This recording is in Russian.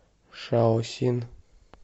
шаосин